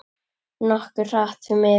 Nokkuð hratt, því miður.